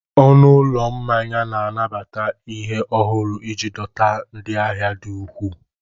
Ọnụ ụlọ mmanya na-anabata ihe ọhụrụ iji dọta ndị ahia di ukwuu.